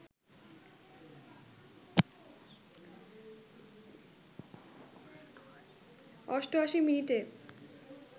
৮৮ মিনিটে